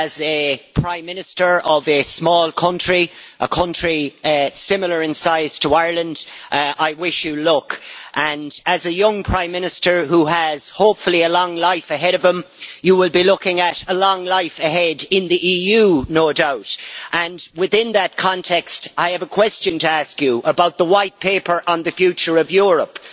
As Prime Minister of a small country a country similar in size to Ireland I wish you luck. As a young Prime Minister who hopefully has a long life ahead of him, you will be looking at a long life ahead in the EU no doubt. Within that context, I have a question to ask you about the White Paper on the future of Europe.